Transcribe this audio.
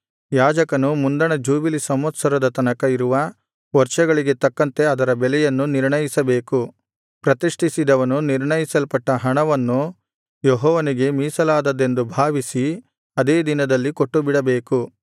ಯಾಜಕನು ಮುಂದಣ ಜೂಬಿಲಿ ಸಂವತ್ಸರದ ತನಕ ಇರುವ ವರ್ಷಗಳಿಗೆ ತಕ್ಕಂತೆ ಅದರ ಬೆಲೆಯನ್ನು ನಿರ್ಣಯಿಸಬೇಕು ಪ್ರತಿಷ್ಠಿಸಿದವನು ನಿರ್ಣಯಿಸಲ್ಪಟ್ಟ ಹಣವನ್ನು ಯೆಹೋವನಿಗೆ ಮೀಸಲಾದದ್ದೆಂದು ಭಾವಿಸಿ ಅದೇ ದಿನದಲ್ಲಿ ಕೊಟ್ಟುಬಿಡಬೇಕು